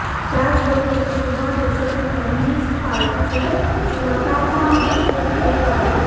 त्याचबरोबर क्युबा देशातील कम्युनिस्ट पार्टीचे स्वतःच्या मालकीचे उद्योग आहेत